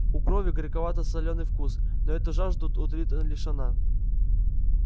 у крови горьковато-солёный вкус но эту жажду утолит лишь она